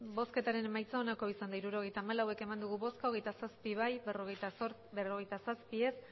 hirurogeita hamalau eman dugu bozka hogeita zazpi bai berrogeita zazpi ez